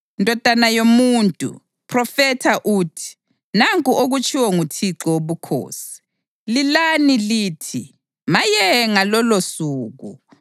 “Ndodana yomuntu, phrofetha uthi: ‘Nanku okutshiwo nguThixo Wobukhosi: Lilani lithi, “Maye ngalolosuku!”